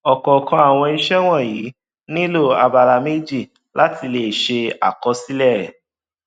ọkọọkan àwọn ìṣe wọnyí nílò abala méjì láti lè ṣe àkọsílẹ